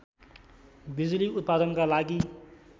बिजुली उत्पादनका लागि